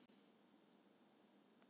Allt fór inn